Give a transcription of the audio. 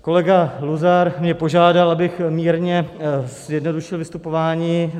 Kolega Luzar mě požádal, abych mírně zjednodušil vystupování.